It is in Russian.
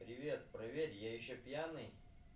привет проверь я ещё пьяный